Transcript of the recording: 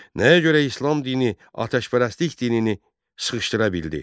Nəyə görə İslam dini atəşpərəstlik dinini sıxışdıra bildi?